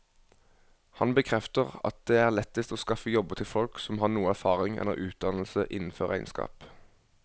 Han bekrefter at det er lettest å skaffe jobber til folk som har noe erfaring eller utdannelse innenfor regnskap.